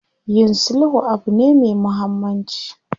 Yin sulhu abu ne me muhammanci.